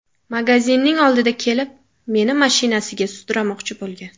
Magazinning oldida kelib, meni mashinasiga sudramoqchi bo‘lgan.